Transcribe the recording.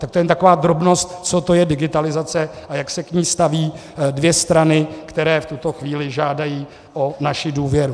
Tak to jen taková drobnost, co to je digitalizace a jak se k ní staví dvě strany, které v tuto chvíli žádají o naši důvěru.